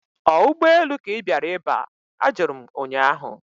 Ọ ụgbọelu ka ị bịara iba? Ajụrụ m ụnyaahụ